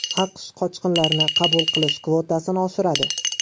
AQSh qochqinlarni qabul qilish kvotasini oshiradi.